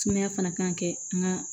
Sumaya fana kan ka kɛ an ka